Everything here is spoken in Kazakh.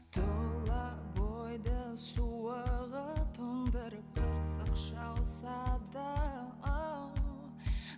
тұла бойды суығы тоңдырып қырсық шалса да